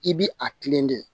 I bi a kilen dɛ